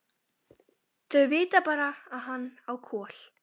Þau vita bara að hann á Kol.